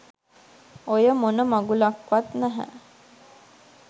ඔය මොන මගුලක්වත් නැහැ.